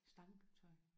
Stangtøj